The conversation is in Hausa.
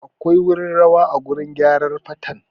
Akwai wurin rawa a gurin gyarar fatan